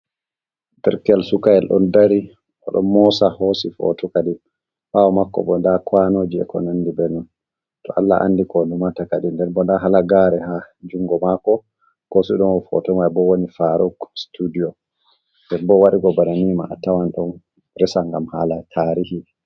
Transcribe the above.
Tirkel sukayel ɗon dari, o ɗo mosa hosi fotokadin ɓawo makobo nda kwanoji ekonondi bannin. to Allah andi ko o limatakadi, nder bo nda halagare ha jungo mako ko sidono foto mai bo woni faruk sutudiyo. Nden bo owaɗi banni man a tawan ɗon resa ngam hala tarihi.